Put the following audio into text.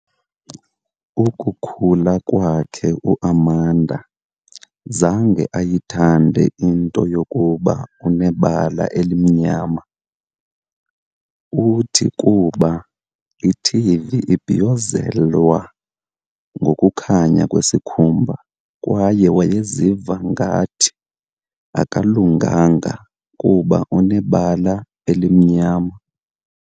Ukukhula kwakhe uAmanda zange ayithande into yokuba unebala elimnyama, uthi kuba iTV ibhiyozelwa ngokukhanya kwesikhumba kwaye wayeziva ngathi akalunganga kuba unebala elimnyama.